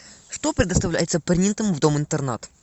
что предоставляется принятому в дом интернат